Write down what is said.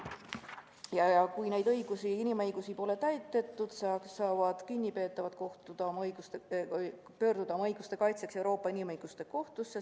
Ja kui neid inimõigusi pole täidetud, saavad kinnipeetavad pöörduda oma õiguste kaitseks Euroopa Inimõiguste Kohtusse.